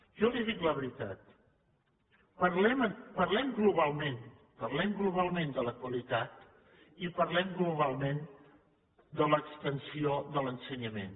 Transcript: jo li dic la veritat parlem globalment parlem globalment de la qualitat i parlem globalment de l’extensió de l’ensenyament